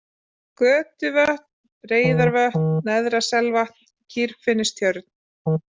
Götuvötn, Reyðarvötn, Neðra-Selvatn, Kýrfinnstjörn